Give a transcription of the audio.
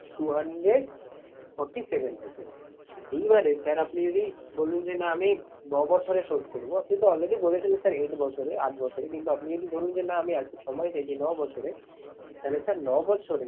Two hundred forty seven rupees এইবারে sir আপনি যদি বললেন যে না আমি নবছরে শোধ করবো। আপনি তো already বলেছিলেন sir eight বছরে, আট বছরে। কিন্তু আপনি যদি, ধরুন যে না আমি আর একটু সময় চাইছি নবছরে তাহলে sir নবছরেই